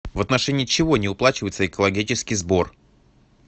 в отношении чего не уплачивается экологический сбор